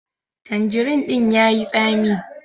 Tandirin din ya yi tsami.